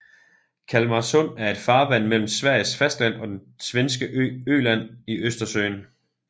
Kalmarsund er et farvand mellem Sveriges fastland og den svenske ø Öland i Østersøen